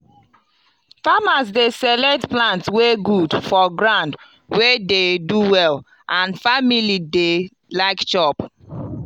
farmers dey select plant wey good for ground wey dey do well and family dey like chop.